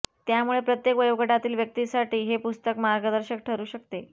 त्यामुळे प्रत्येक वयोगटातील व्यक्तीसाठी हे पुस्तक मार्गदर्शक ठरू शकते